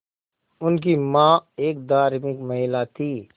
उनकी मां एक धार्मिक महिला थीं